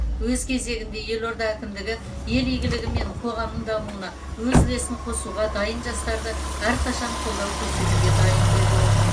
өз кезегінде елорда әкімдігі ел игілігі мен қоғамның дамуына өз үлесін қосуға дайын жастарды әрқашан қолдау көрсетуге дайын деді ол